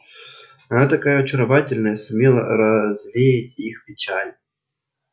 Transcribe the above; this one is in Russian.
она такая очаровательная сумела развеять их печаль